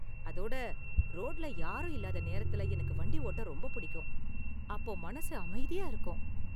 அதோட ரோட்டுல யாரும் இல்லாத நேரத்துல எனக்கு வண்டி ஓட்ட ரொம்ப பிடிக்கும்; அப்போ, மனசு அமைதியா இருக்கும்.